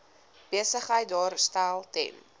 besigheid daarstel ten